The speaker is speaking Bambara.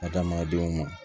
Adamadenw ma